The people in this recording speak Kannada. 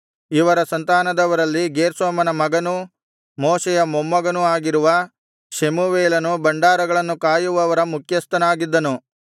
ಇವರ ಸಂತಾನದವರಲ್ಲಿ ಗೇರ್ಷೋಮನ ಮಗನೂ ಮೋಶೆಯ ಮೊಮ್ಮಗನೂ ಆಗಿರುವ ಶೆಬೂವೇಲನು ಭಂಡಾರಗಳನ್ನು ಕಾಯುವವರ ಮುಖ್ಯಸ್ಥನಾಗಿದ್ದನು